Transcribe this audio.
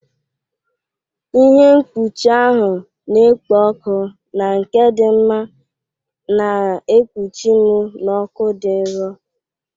Ihe mkpuchi ahụ na-ekpo ọkụ na nke dị mma na-ekpuchi m n'ọkụ dị nro.